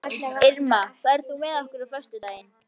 Irma, ferð þú með okkur á föstudaginn?